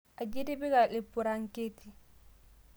Aji itipika lpuranketi?